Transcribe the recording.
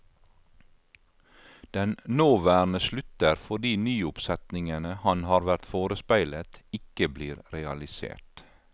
Den nåværende slutter fordi nyoppsetningene han har vært forespeilet, ikke blir realisert.